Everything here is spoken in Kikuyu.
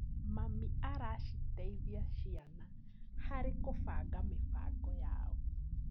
Mami araciteithia ciana harĩ gũbanga mĩbango yao.